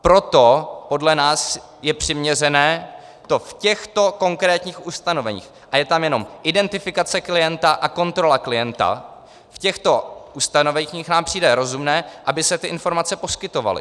Proto podle nás je přiměřené to v těchto konkrétních ustanoveních - a je tam jenom identifikace klienta a kontrola klienta - v těchto ustanoveních nám přijde rozumné, aby se ty informace poskytovaly.